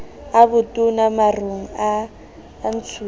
a botona marong a ntshuwang